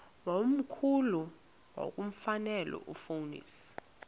wakomkhulu wakulomfetlho fonis